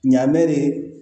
Ɲa mɛ de